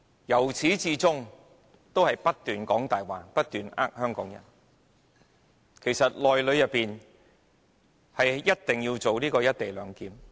由始至終，政府也不斷說謊，不斷欺騙香港人，其實"一地兩檢"是必須實行的。